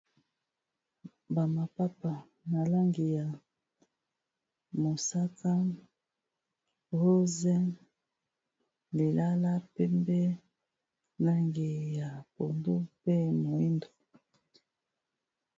Ba mapapa na langi ya mosaka rose lilala pembe langi ya pondu mpe moyindo